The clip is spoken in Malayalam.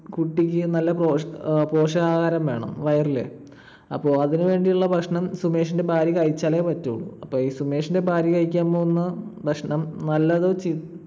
കുട്ടിക്ക് നല്ല അഹ് പോഷകാഹാരം വേണം. വയറില്. അപ്പൊ അതിനുവേണ്ടിയുള്ള ഭക്ഷണം സുമേഷിന്റെ ഭാര്യ കഴിച്ചാലേ പറ്റുള്ളൂ. അപ്പൊ സുമേഷിന്റെ ഭാര്യ കഴിക്കാൻ പോകുന്ന ഭക്ഷണം നല്ലതോ ചീ